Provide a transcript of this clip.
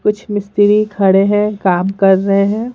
कुछ मिस्त्री खड़े हैं काम कर रहे हैं।